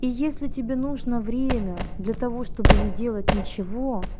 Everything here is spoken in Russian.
и если тебе нужно время для того чтобы не делать ничего